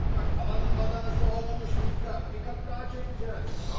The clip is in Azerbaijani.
Bana bax, tavanın badanası olmamış Vika, Vika daha çəkəcəyik.